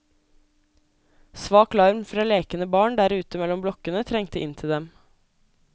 Svak larm fra lekende barn der ute mellom blokkene trengte inn til dem.